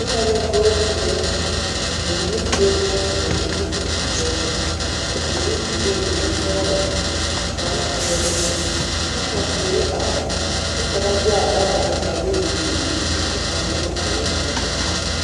Noba la voortire, bamine sue bonzeere, zupili peɛle a su bombuluu bonsɔgelɔ kpare peɛle kyɛ ka teere are kyɛ ka ba de a dagare a yi biŋ biŋ kyɛ ka noba a yɔ kyɛnɛ.